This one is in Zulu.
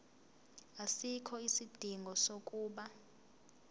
asikho isidingo sokuba